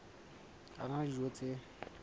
a na le dijo tse